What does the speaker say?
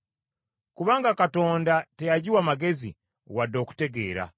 Kubanga Katonda teyagiwa magezi wadde okutegeera.